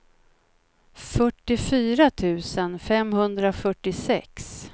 fyrtiofyra tusen femhundrafyrtiosex